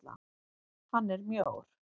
Hann er mjór.